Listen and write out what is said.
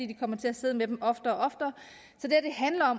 de kommer til at sidde med dem oftere